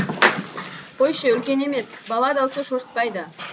қойшы үлкен емес бала даусы шошытпайды